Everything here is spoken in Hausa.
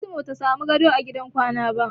Fatima bata samu gado a gidan kwana ba.